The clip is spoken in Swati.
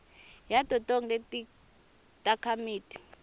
yato tonkhe takhamiti